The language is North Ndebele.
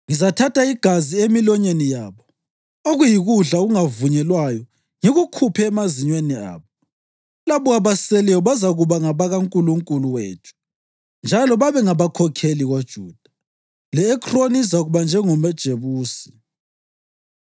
Ngizathatha igazi emilonyeni yabo, okuyikudla okungavunyelwayo ngikukhuphe emazinyweni abo. Labo abaseleyo bazakuba ngabakaNkulunkulu wethu njalo babengabakhokheli koJuda, le-Ekroni izakuba njengamaJebusi.